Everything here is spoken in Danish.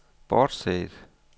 bortset